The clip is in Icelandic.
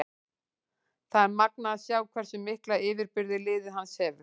Það er magnað að sjá hversu mikla yfirburði liðið hans hefur.